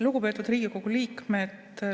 Lugupeetud Riigikogu liikmed!